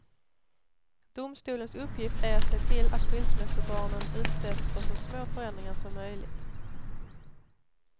Domstolens uppgift är att se till att skilsmässobarnen utsätts för så små förändringar som möjligt.